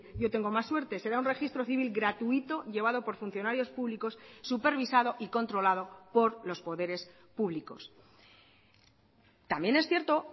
yo tengo más suerte será un registro civil gratuito llevado por funcionarios públicos supervisado y controlado por los poderes públicos también es cierto